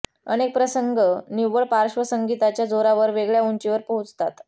अनेक प्रसंग निव्वळ पार्श्वसंगीताच्या जोरावर वेगळ्या उंचीवर पोहोचतात